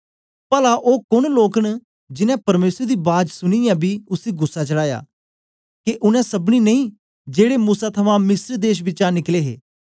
पला ओ कोन लोक न जीनें परमेसर दी बाज सुनीयै बी उसी गुस्सा चढ़ाया के उनै सबनी नेई जेड़े मूसै थमां मिस्र देश बिचा निकले हे